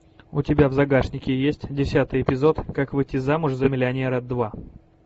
у тебя в загашнике есть десятый эпизод как выйти замуж за миллионера два